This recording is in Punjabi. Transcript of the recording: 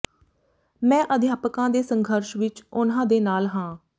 ਮੈਂ ਅਧਿਆਪਕਾਂ ਦੇ ਸੰਘਰਸ਼ ਵਿਚ ਉਨ੍ਹਾਂ ਦੇ ਨਾਲ ਹਾਂ